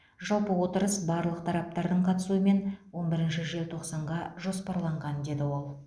жалпы отырыс барлық тараптардың қатысуымен он бірінші желтоқсанға жоспарланған деді ол